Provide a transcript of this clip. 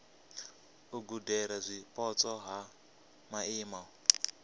u gudela zwipotso ha maimo